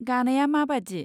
गानाया माबादि?